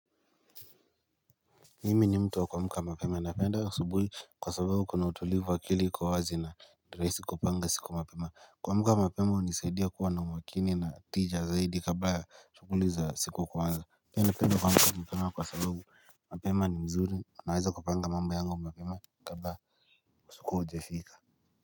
Mimi ni mtu wa kuamka mapema napenda asubuhi kwa sababu kuna utulivu wa akili kwa wazi na ni rahisi kupanga siku mapema. Kuamka mapema hunisaidia kuwa na umakini na tija zaidi kabla ya shughuli za siku kuanza. Pia napenda kuamka mapema kwa sababu mapema ni mzuri ninaweza kupanga mambo yangu mapema kabla ya usiku haijafika.